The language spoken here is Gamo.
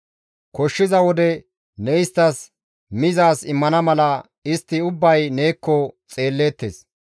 Koshshiza wode ne isttas mizaaz immana mala istti ubbay neekko xeelleettes.